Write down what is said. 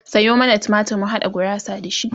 Sayo mana tumatir mu haɗa gurasa da shi